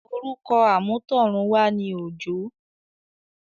orúkọ àmútọ̀runwá ni “ Òjó”.